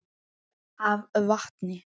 af vatni.